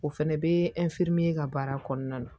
O fɛnɛ bɛ ka baara kɔnɔna na